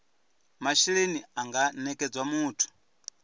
mashelelni a nga nekedzwa muthu